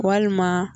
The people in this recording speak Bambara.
Walima